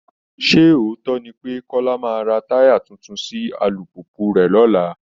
Sé òótọ́ ni pé Kọ́lá maá ra táyà tuntun sí alùpùpù rẹ̀ lọ́la?